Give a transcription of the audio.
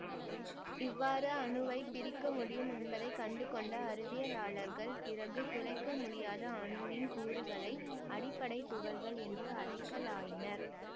இவ்வாறு அணுவைப் பிரிக்க முடியும் என்பதை கண்டுகொண்ட அறிவியலாளர்கள் பிறகு துளைக்க முடியாத அணுவின் கூறுகளை அடிப்படை துகள்கள் என்று அழைக்கலாயினர்